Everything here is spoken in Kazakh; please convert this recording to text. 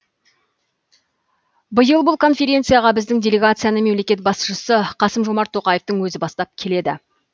биыл бұл конференцияға біздің делегацияны мемлекет басшысы қасым жомарт тоқаевтың өзі бастап келеді